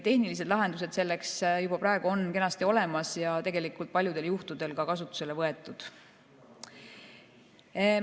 Tehnilised lahendused selleks on juba praegu kenasti olemas ja tegelikult paljudel juhtudel ka kasutusele võetud.